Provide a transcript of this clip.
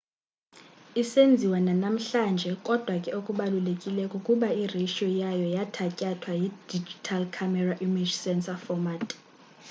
isenziwa nanamhlanje kodwa ke okubalulekileyo kukuba iratio yayo yathatyathwa yi-digital camera image sensor format